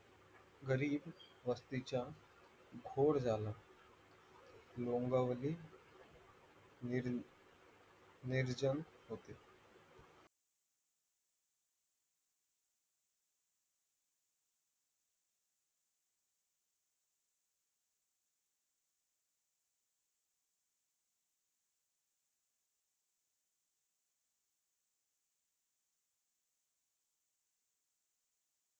गल्लीवस्तीच्या घोळ झाला लोंगावले नीर निराजन